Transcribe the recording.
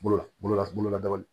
Bolola bololabaara